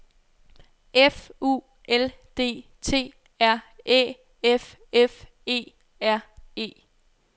F U L D T R Æ F F E R E